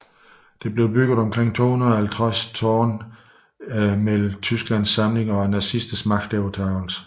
Der blev bygget omkring 250 af disse tårne i tiden mellem Tysklands samling og nazisternes magtovertagelse